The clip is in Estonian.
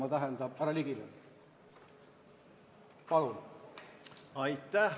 Aitäh!